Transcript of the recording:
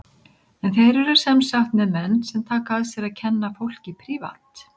En þeir eru sem sagt með menn sem taka að sér að kenna fólki prívat.